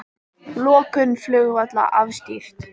Lokun flugvalla afstýrt